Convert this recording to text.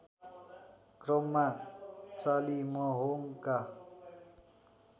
क्रममा चालिमहोङका